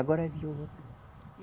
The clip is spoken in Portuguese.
Agora